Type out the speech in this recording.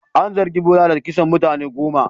An zargi Bola da kisan mutane goma.